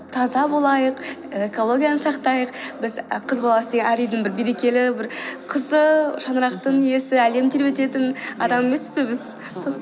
таза болайық экологияны сақтайық біз і қыз баласы әр үйдің берекелі бір қызы шаңырақтың иесі әлем тербететін адам емеспіз бе біз